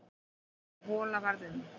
Sú hola varð um